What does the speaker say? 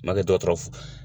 Ma kɛ dɔgɔtɔrɔ